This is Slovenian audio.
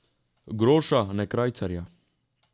Groša, ne krajcarja.